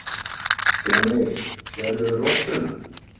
Stjáni, sérðu rottuna?